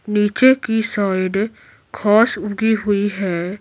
नीचे की साइड घास उगी हुई है।